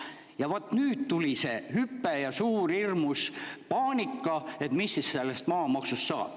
Ja vaat nüüd tuli see hüpe ja hirmus suur paanika, et mis siis maamaksust saab.